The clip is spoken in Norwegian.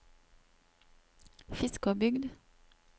Fiskåbygd